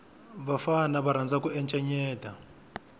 vafana va rhandza ku encenyeta